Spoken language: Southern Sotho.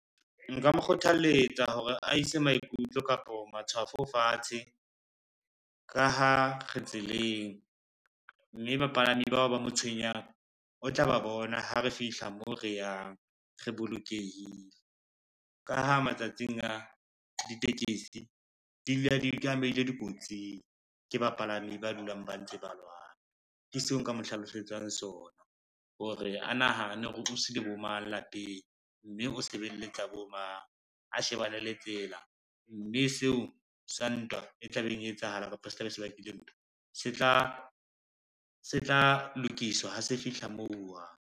Nka mo kgothaletsa hore a ise maikutlo kapo matshwafo fatshe ka ha re tseleng, mme bapalami bao ba mo tshwenyang, o tla ba bona ha re fihla mo re yang re bolokehile. Ka ha matsatsing a, ditekesi di dula di tlameile di kotsing ke bapalami ba dulang ba ntse ba lwana, ke seo nka mo hlalosetsang sona hore a nahane hore o dutsi le bo mang lapeng, mme o sebeletsa bo mang a shebane le tsela, mme seo sa ntwa e tlabeng e etsahala kapa se tla be se bakile ntwa se tla lokiswa, ha se fihla moo uwang.